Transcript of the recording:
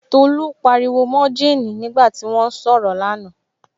Tolú pariwo mọ Kéènì nígbà tí wọ́n ń sọ̀rọ̀ là na